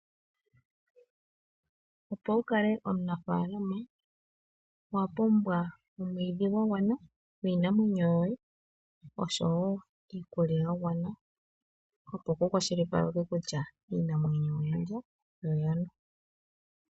Opo wukale omunafaalama owa pumbwa omwiidhi gwa gwana gwiinamwenyo yoye oshowo iikulya ya gwana opo kukwashilipalekwe kutya iinamwenyo oya lya yo oya nwa.